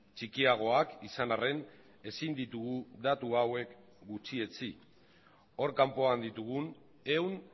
txikiagoak izan arren ezin ditugu datu hauek gutxietsi hor kanpoan ditugun ehun